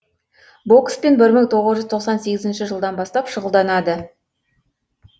бокспен бір мың тоғыз жүз тоқсан сегізінші жылдан бастап шұғылданады